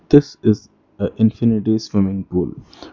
This is a infinity swimming pool.